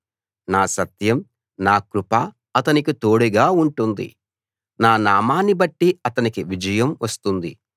నా సత్యం నా కృప అతనికి తోడుగా ఉంటుంది నా నామాన్నిబట్టి అతనికి విజయం వస్తుంది